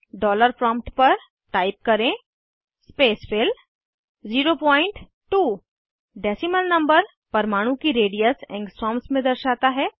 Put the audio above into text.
dollar prompt पर type करें spacefill 02 decimal number परमाणु की रेडियस एंगस्ट्रॉम्स में दर्शाता है